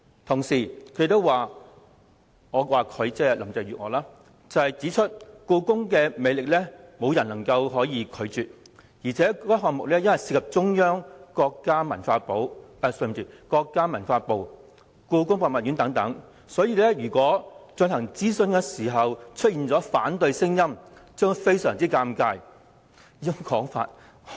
同時，林鄭月娥亦指出故宮的魅力沒有人能夠抗拒，加上項目涉及中央政府、國家文化部及故宮博物院等，如諮詢期間出現反對聲音，便會相當尷尬。